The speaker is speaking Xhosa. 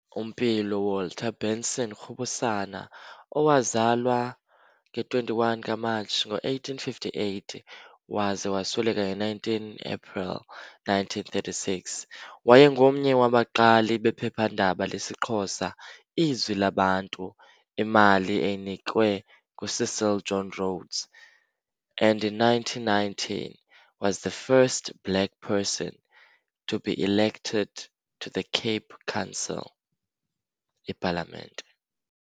Mpilo Walter Benson Rubusana owazalwa nge-21 kaMarch 1858 waze wasweleka nge-19 April 1936, waye ngomnye wabaqali bephephandaba lesiXhosa, "Izwi Labantu", imali eyinikwe nguCecil John Rhodes, "and in 1909 was the first Black person to be elected to the Cape Council, ePalamente".